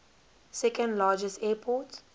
second largest airport